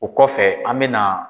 O kɔfɛ an bɛna